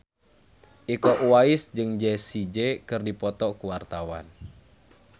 Iko Uwais jeung Jessie J keur dipoto ku wartawan